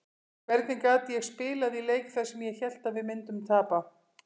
Hvernig gat ég spilað í leik þar sem ég hélt að við myndum tapa?